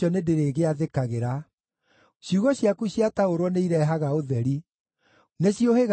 Ciugo ciaku ciataũrwo nĩirehaga ũtheri; nĩciũhĩgagia andũ arĩa matarĩ oogĩ.